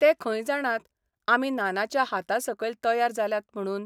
ते खंय जाणात, आमी नानाच्या हातासकयल तयार जाल्यात म्हणून?